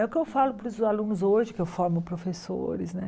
É o que eu falo para os alunos hoje, que eu formo professores né.